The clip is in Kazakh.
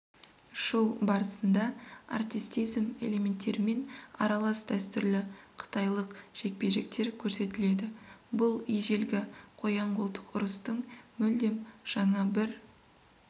шоу барысында артистизм элементтерімен аралас дәстүрлі қытайлық жекпе-жектер көрсетіледі бұл ежелгі қоян-қолтық ұрыстың мүлдем жаңа бір